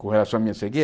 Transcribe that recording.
Com relação à minha